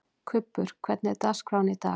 Kubbur, hvernig er dagskráin í dag?